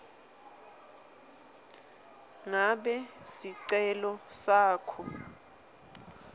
ngabe sicelo sakho